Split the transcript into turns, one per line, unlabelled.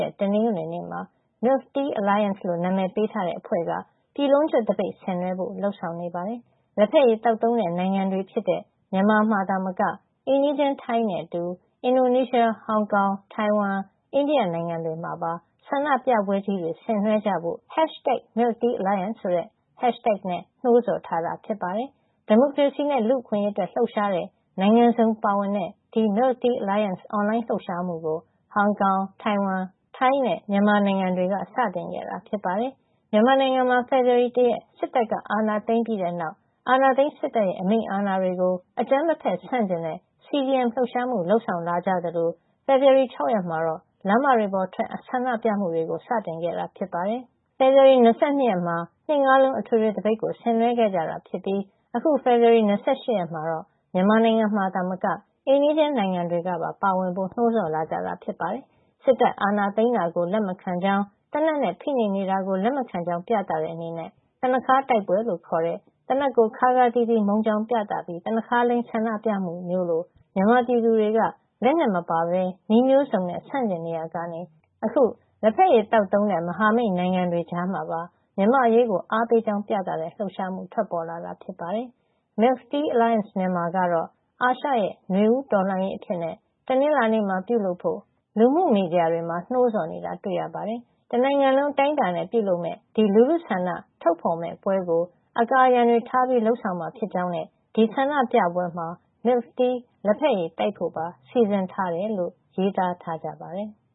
ရက် တနင်္ဂနွေနေ့မှာ Milk Tea Alliance လို့ အမည်ပေးထားတဲ့အဖွဲ့က ပြည်လုံးကျွတ်သပိတ် ဆင်နွှဲဖို့ လုပ်ဆောင်နေပါတယ်။ လက်ဖက်ရည်သောက်သုံးတဲ့ နိုင်ငံတွေဖြစ်တဲ့ မြန်မာ သာမက အိမ်နီးချင်း ထိုင်းနဲ့အတူ အင်ဒိုနီးရှား ၊ ဟောင်ကောင်၊ တိုင်ဝမ်၊ အိန္ဒိယနိုင်ငံတွေမှာပါ ဆန္ဒပြပွဲကြီးတွေ ဆင်နွှဲကြဖို့ #MilkTeaAlliance ဆိုတဲ့ hashtag နဲ့ နှိုးဆော် ထားတာပါ။ ဒီမိုကရေစီနဲ့ လူ့အခွင့်ရေးအတွက် လှုပ်ရှားတဲ့ နိုင်ငံစုံပါဝင်တဲ့ ဒီ Milk Tea Alliance အွန်လိုင်းလှုပ်ရှားမှု ကို ဟောင်ကောင်၊ တိုင်ဝမ်၊ ထိုင်းနဲ့ မြန်မာနိုင်ငံတွေက စတင်ခဲ့တာ ဖြစ်ပါတယ်။ မြန်မာနိုင်ငံမှာ ဖေဖေါ်ဝါရီလ ၁ ရက် စစ်တပ်အာဏာသိမ်းပြီးတဲ့ နောက် အာဏာသိမ်းစစ်တပ်ရဲ့ အမိန့်အာဏာတွေကို အကြမ်းမဖက်ဆန့်ကျင်တဲ့ CDM လှုပ်ရှားမှု လုပ်ဆောင်လာကြသလို ဖေဖေါ်ဝါရီ ၆ ရက်မှာတော့ လမ်းမပေါ်ထွက် ဆန္ဒပြမှုတွေ စတင်ခဲ့တာ ဖြစ်ပါတယ်။ ဖေဖေါ်ဝါရီလ ၂၂ ရက်နေ့မှာတော့ ၂ ငါးလုံး အထွေထွေ သပိတ်ကို ဆင်နွှဲခဲ့ကြတာ ဖြစ်ပြီး အခု ဖေဖေါ်ဝါရီ ၂၈ ရက်မှာတော့ မြန်မာနိုင်ငံမှာသာ မက အိမ်နီးချင်းနိုင်ငံတွေကပါ ပါဝင်ဖို့ နှိုးဆော်လာကြတာ ဖြစ်ပါတယ်။ စစ်တပ်အာဏာသိမ်းတာကို လက်မခံကြောင်း သေနတ်နဲ့ ဖိနှိပ်နေတာကို လက်မခံကြောင်း ပြသတဲ့ အနေနဲ့ သနပ်ခါး တိုက်ပွဲလို့ခေါ်တဲ့ သေနတ်ကို ခါးခါးသီးသီး မုန်းကြောင်း ပြသပြီး သနပ်ခါးလိမ်း ဆန္ဒပြမှုမျိုးလို မြန်မာပြည်သူတွေ လက်နက်မပါတဲ့ နည်းမျိုးစုံနဲ့ ဆန့်ကျင်နေရာက အခု လက်ဖက်ရည် သောက်သုံးတဲ့မဟာမိတ် နိုင်ငံတွေ ကြားမှာပါ မြန်မာ့အရေးကို အားပေးကြောင်း ပြသတဲ့ လှုပ်ရှားမှု ပေါ်ထွက်လာတာ ဖြစ်ပါတယ်။ #MilkTeaAlliance Myanmar ကတော့ အာရှရဲ့ နွေဦးတော်လှန်ရေးအဖြစ် တနင်္လာနေ့မှာ ပြုလုပ်ဖို့ လူမှုမီဒီယာတွေမှာ နှိုးဆော်နေတာတွေ့ရပါတယ်။ တနိုင်ငံလုံး အတိုင်းအတာနဲ့ ပြုလုပ်မယ့် ဒီလူထုဆန္ဒ ဖေါ်ထုတ်မဲ့ပွဲကို အကာအရံတွေ ထားပြီး လုပ်ဆောင်မှာ ဖြစ်ကြောင်းနဲ့ ဒီဆန္ဒပြပွဲမှာ Milk tea လဖက်ရည် တိုက်ဖို့ပါ စီစဉ်ထားတယ်လို့ ရေးသားထားကြပါတယ်။